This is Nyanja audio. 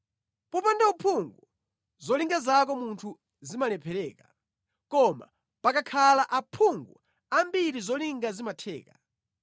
Popanda uphungu zolinga zako munthu zimalephereka, koma pakakhala aphungu ambiri zolinga zimatheka.